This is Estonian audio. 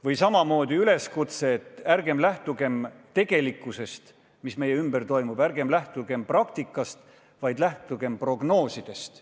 Või samamoodi üleskutse, et ärgem lähtugem tegelikkusest, mis meie ümber on, ärgem lähtugem praktikast, vaid lähtugem prognoosidest.